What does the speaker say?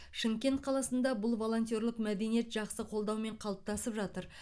шымкент қаласында бұл волонтерлық мәдениет жақсы қолдаумен қалыптасып жатыр